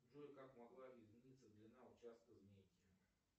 джой как могла измениться длина участка змейки